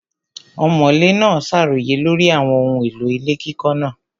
Ọ̀mọ̀lé náà ṣàròyé lórí àwọn ohun èlò ilé kíkọ́ náà.